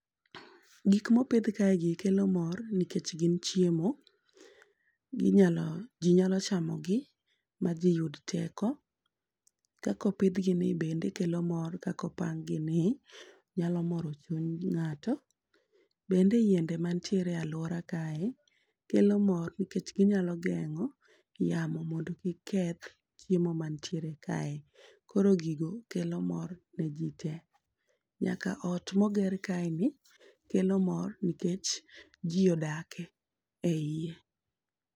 Gikmopidh kaegi kelo mor nikech gin chiemo, ji nyalo chamogi ma ji yud teko. Kakopidhgini be kelo mor kakopanggini nyalo moro chuny ng'ato. Bende yiende mantiere alwora kae kelo mor nikech ginyalo geng'o yamo mondo kik keth chiemo mantiere kae, koro gigo kelo mor ne ji te. Nyaka ot moger kaeni kelo mor nikech ji odak e iye.